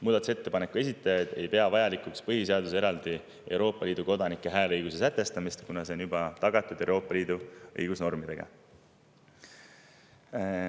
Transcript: Muudatusettepaneku esitajad ei pea vajalikuks põhiseaduses eraldi Euroopa Liidu kodanike hääleõiguse sätestamist, kuna see on juba tagatud Euroopa Liidu õigusnormidega.